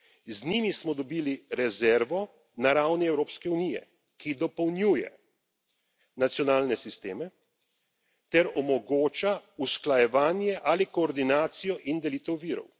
Z njimi smo dobili rezervo na ravni Evropske unije, ki dopolnjuje nacionalne sisteme ter omogoča usklajevanje ali koordinacijo in delitev virov.